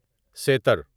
sitar sitar